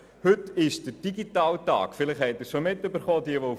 Meist hören sie in dieser Phase mit dem Sport auf.